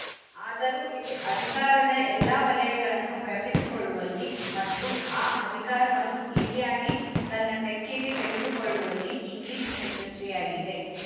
ಆದರೂ ಇದು ಅಧಿಕಾರದ ಎಲ್ಲ ವಲಯಗಳನ್ನು ವ್ಯಾಪಿಸಿಕೊಳ್ಳುವಲ್ಲಿ ಮತ್ತು ಆ ಅಧಿಕಾರವನ್ನು ಇಡಿಯಾಗಿ ತನ್ನ ತೆಕ್ಕೆಗೆ ತೆಗೆದುಕೊಳ್ಳುವಲ್ಲಿ ಇಂಗ್ಲಿಶು ಯಶಸ್ವಿಯಾಗಿದೆ